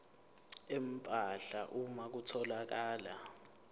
empahla uma kutholakala